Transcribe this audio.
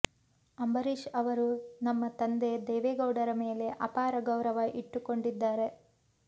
ಅಂಬರೀಶ್ ಅವರು ನಮ್ಮ ತಂದೆ ದೇವೇಗೌಡರ ಮೇಲೆ ಅಪಾರ ಗೌರವ ಇಟ್ಟುಕೊಂಡಿದ್ದಾರೆ